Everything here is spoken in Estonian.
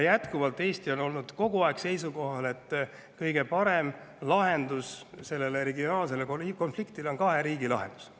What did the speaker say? Jätkuvalt on Eesti seisukohal, et kõige parem lahendus sellele regionaalsele konfliktile on kahe riigi lahendus.